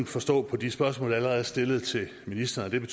forstå på de spørgsmål der allerede er stillet til ministeren at det